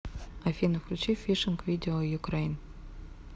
афина включи фишинг видео юкрэйн